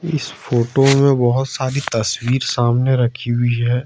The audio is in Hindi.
इस फोटो में बहोत सारी तस्वीर सामने रखी हुई है।